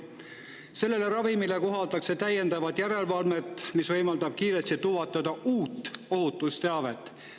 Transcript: Sellele ravimile kohaldatakse täiendavat järelevalvet, mis võimaldab kiiresti tuvastada uut ohutusteavet.